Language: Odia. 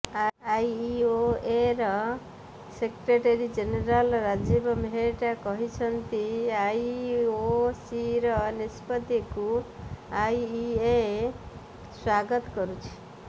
ଆଇଓଏର ସେକ୍ରେଟାରୀ ଜେନେରାଲ୍ ରାଜୀବ ମେହେଟ୍ଟା କହିଛନ୍ତି ଆଇଓସିର ନିଷ୍ପତ୍ତିକୁ ଆଇଇଏ ସ୍ୱାଗତ କରୁଛି